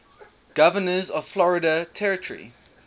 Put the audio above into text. governors of florida territory